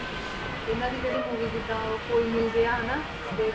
ਇਹਨਾਂ ਦੀ ਜਿਹੜੀ movie ਜਿੱਦਾਂ ਉਹ ਕੋਈ ਮਿਲ ਗਿਆ ਹਨਾ ਤੇ